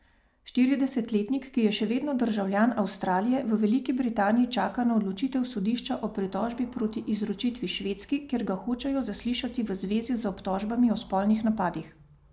Štiridesetletnik, ki je še vedno državljan Avstralije, v Veliki Britaniji čaka na odločitev sodišča o pritožbi proti izročitvi Švedski, kjer ga hočejo zaslišati v zvezi z obtožbami o spolnih napadih.